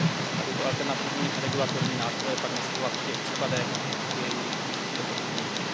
A tyto alternativní regulatorní nástroje pak nasazovat v těch případech, kdy je jejich užití efektivnější.